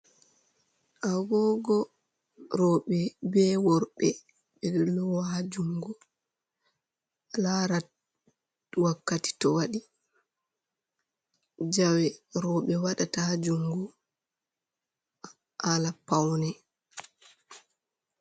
Agogo roɓe, be worɓe be lowa jungo lara wakkati to waɗi. Jawe robe waɗa ta ha jungu hala paune.